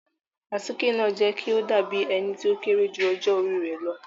Àtike naa jẹ ki o dabi ẹni ti o kere ju ọjọ ori rẹ lọ